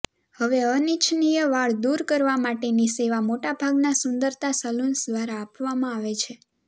હવે અનિચ્છનીય વાળ દૂર કરવા માટેની સેવા મોટાભાગના સુંદરતા સલુન્સ દ્વારા આપવામાં આવે છે